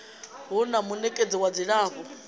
hu na munekedzi wa dzilafho